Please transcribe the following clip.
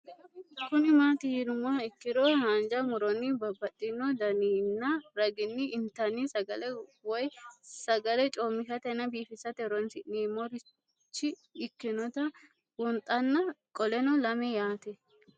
Kuni mati yinumoha ikiro hanja muroni babaxino daninina ragini intani sagale woyi sagali comishatenna bifisate horonsine'morich ikinota bunxana qoleno lame yaate?